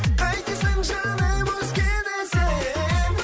қайтесің жаным өзгені сен